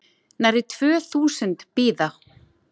Nærri tvö þúsund bíða